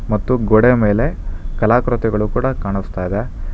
ಗೋಡೆಯ ಮೇಲೆ ಕಲಾಕೃತಿಗಳು ಕೂಡ ಕಾಣಿಸ್ತಾ ಇದೆ.